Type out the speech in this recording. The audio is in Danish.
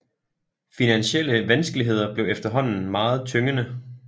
Finansielle vanskeligheder blev efterhånden meget tyngende